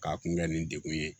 K'a kun kɛ nin degun ye